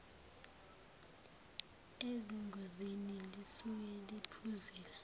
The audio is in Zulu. ezingozini lisuke liphuzile